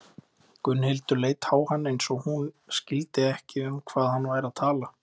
Gunnhildur leit á hann eins og hún skildi ekki um hvað hann væri að tala.